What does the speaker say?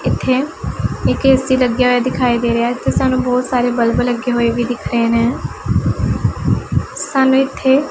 ਇੱਥੇ ਇੱਕ ਐ_ਸੀ ਲੱਗਿਆ ਹੋਇਆ ਦਿਖਾਈ ਦੇ ਰਿਹਾ ਹੈ ਤੇ ਸਾਨੂੰ ਬੋਹੁਤ ਸਾਰੇ ਬੱਲਬ ਲੱਗੇ ਹੋਏ ਵੀ ਦਿੱਖ ਰਹੇ ਨੇਂ ਸਾਨੂੰ ਇੱਥੇ--